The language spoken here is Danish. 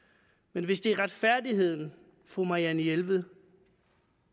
men hvis det er retfærdigheden fru marianne jelved